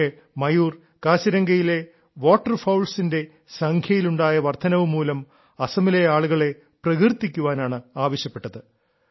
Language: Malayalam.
പക്ഷേ മയൂർ കാസിരംഗയിലെ വാട്ടർഫൌൾwaterfowlsസിന്റെ സംഖ്യയിലുണ്ടായ വർദ്ധനവു മൂലം അസമിലെ ആളുകളെ പ്രകീർത്തിക്കാനാണ് ആവശ്യപ്പെട്ടത്